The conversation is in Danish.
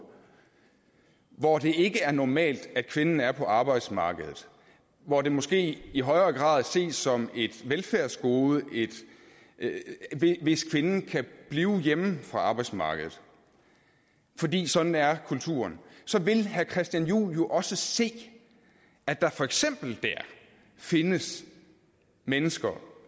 hvor det ikke er normalt at kvinden er på arbejdsmarkedet hvor det måske i højere grad ses som et velfærdsgode hvis kvinden kan blive hjemme fra arbejdsmarkedet fordi sådan er kulturen så vil herre christian juhl jo også se at der for eksempel dér findes mennesker